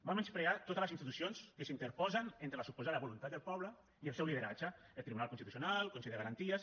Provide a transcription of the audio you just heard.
va menysprear totes les institucions que s’interposen entre la suposada voluntat del poble i el seu lideratge el tribunal constitucional el consell de garanties